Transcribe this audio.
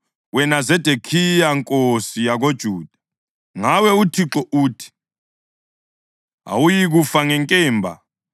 Kodwa-ke zwana isithembiso sikaThixo, wena Zedekhiya nkosi yakoJuda. Ngawe uThixo uthi: Awuyikufa ngenkemba;